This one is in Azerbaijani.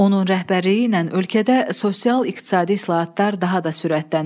Onun rəhbərliyi ilə ölkədə sosial-iqtisadi islahatlar daha da sürətlənib.